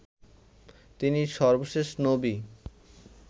তিনি সর্বশেষ নবী